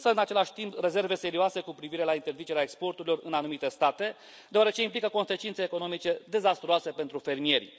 Îmi exprim însă, în același timp, rezerve serioase cu privire la interzicerea exporturilor în anumite state, deoarece implică consecințe economice dezastruoase pentru fermieri.